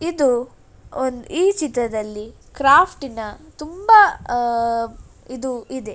ಇದು ಈ ಚಿತ್ರದಲ್ಲಿ ಕ್ರಾಫ್ಟನ ತುಂಬಾ ಅಹ್ ಇದು ಇದೆ .